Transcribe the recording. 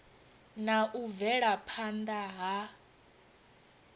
na u bvela phanda ha